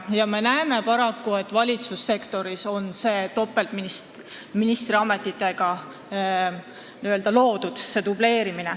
Paraku me näeme dubleerimist ka valitsussektoris, kus on seda loodud topeltministrite ametitega.